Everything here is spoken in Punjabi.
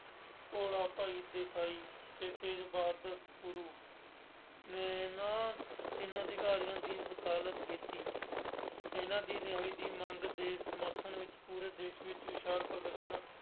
ਭੋਲਾ ਭਾਈ ਦੇਸਾਈ ਅਤੇ ਤੇਜ ਬਾਰਦ ਗੁਰੂ ਨੇ ਇਹਨਾ ਇਹਨਾ ਅਧਿਕਾਰੀਆਂ ਦੀ ਵਕਾਲਤ ਕੀਤੀ। ਇਹਨਾ ਦੀ ਰਿਹਾਈ ਦੀ ਮੰਗ ਦੇ ਸਮਰਥਨ ਵਿੱਚ ਪੂਰੇ ਦੇਸ਼ ਵਿੱਚ ਵਿਸ਼ਾਲ ਭਗਤ ਸਮਾਰੋਹ